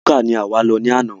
Búkà ní àwa yóò lọ ní àna